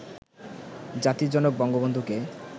জাতির জনক বন্ধবন্ধুকে